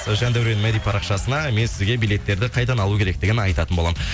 жандаурен мәди парақшасына мен сізге билеттерді қайдан алу керектігін айтатын боламын